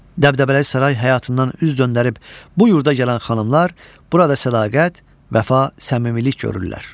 Dəbdəbəli saray həyatından üz döndərib bu yurda gələn xanımlar burada sədaqət, vəfa, səmimilik görürlər.